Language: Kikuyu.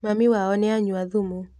Mami wao nĩanyua thumu.